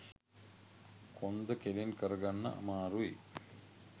කොන්ද කෙළින් කරගන්න අමාරුයි.